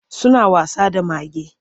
Suna wasa da mage.